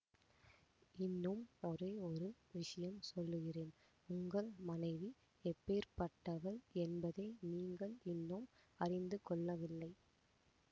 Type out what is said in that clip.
இன்னும் ஒரே ஒரு விஷயம் சொல்லுகிறேன் உங்கள் மனைவி எப்பேர்ப்பட்டவள் என்பதை நீங்கள் இன்னும் அறிந்து கொள்ளவில்லை